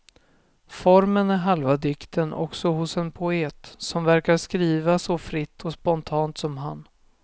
Formen är halva dikten också hos en poet som verkar skriva så fritt och spontant som han.